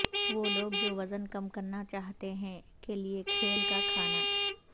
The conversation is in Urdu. وہ لوگ جو وزن کم کرنا چاہتے ہیں کے لئے کھیل کا کھانا